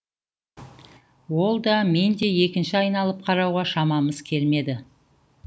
ол да мен де екінші айналып қарауға шамамыз келмеді